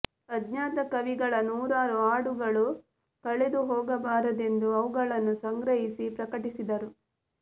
ಅಜ್ಞಾತ ಕವಿಗಳ ನೂರಾರು ಹಾಡುಗಳು ಕಳೆದು ಹೋಗಬಾರದೆಂದು ಅವುಗಳನ್ನು ಸಂಗ್ರಹಿಸಿ ಪ್ರಕಟಿಸಿದರು